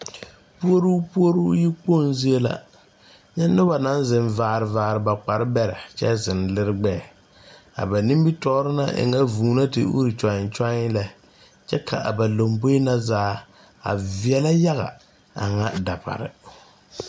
Puoruu puoruu yi kpoŋ zie la nyɛ noba naŋ zeŋ vaare vaare ba kpare bɛrɛ kyɛ zeŋ lire gbɛɛ a ba nimitoore na e ŋa vūū la te ure kyɔii kyɔii kyɛ ka a ba lomboe na zaa a veɛɛlɛ a ŋa dapare.